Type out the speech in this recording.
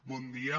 bon dia